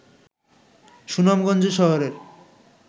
সুনামগঞ্জ শহরের